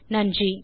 நன்றி